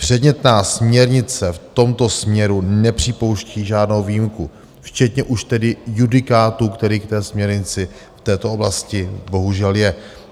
Předmětná směrnice v tomto směru nepřipouští žádnou výjimku, včetně už tedy judikátu, který k té směrnici v této oblasti bohužel je.